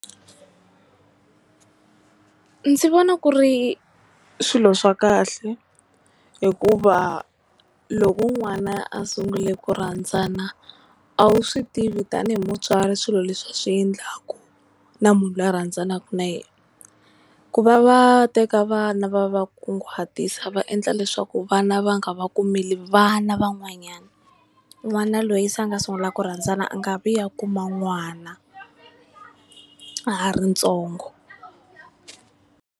Ndzi vona ku ri swilo swa kahle, hikuva loko n'wana a sungule ku rhandzana a wu swi tivi tanihi mutswari swilo leswi a swi endlaku na munhu luya a rhandzaka na yena. Ku va va teka vana va va kunguhatisa, va endla leswaku vana va nga va kumeli vana van'wanyana, n'wana loyi se a nga sungula ku rhandzana a nga vi a kuma n'wana a ha ri ntsongo.